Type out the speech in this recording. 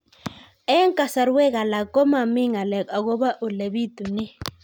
Eng' kasarwek alak ko mami ng'alek akopo ole pitunee